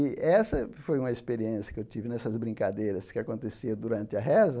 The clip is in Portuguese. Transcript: E essa foi uma experiência que eu tive nessas brincadeiras que aconteciam durante a reza.